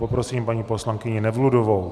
Prosím paní poslankyni Nevludovou.